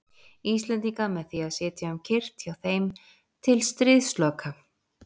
Íslendinga með því að sitja um kyrrt hjá þeim til stríðsloka.